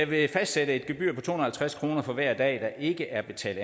vil fastsætte et gebyr på to hundrede og halvtreds kroner for hver dag der ikke er betalt